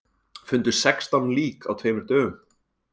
Fundu sextán lík á tveimur dögum